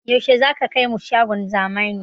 Yaushe zaka kai mu shagon zamani?